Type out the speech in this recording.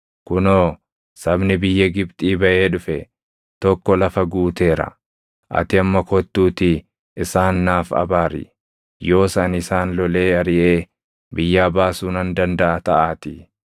‘Kunoo, sabni biyya Gibxii baʼee dhufe tokko lafa guuteera; ati amma kottuutii isaan naaf abaari. Yoos ani isaan lolee ariʼee biyyaa baasuu nan dandaʼa taʼaatii.’ ”